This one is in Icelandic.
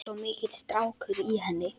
Svo mikill strákur í henni.